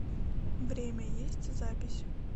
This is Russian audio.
время есть запись